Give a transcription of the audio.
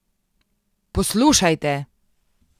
Poslušajte ...